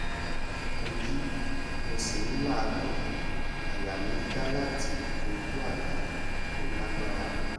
mo jí mo sì n làágùn àyà mi n já láti ojú àlá tó lágbára náà